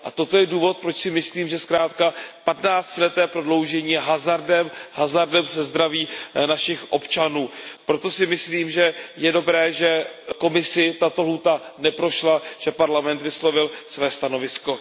Toto je důvod, proč si myslím, že zkrátka 15ti leté prodloužení je hazardem, hazardem se zdravím našich občanů. Proto si myslím, že je dobré, že Komisi tato lhůta neprošla, že Parlament vyslovil své stanovisko.